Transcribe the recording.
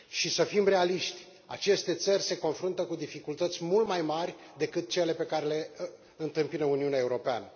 Să fim realiști aceste țări se confruntă cu dificultăți mult mai mari decât cele pe care le întâmpină Uniunea Europeană.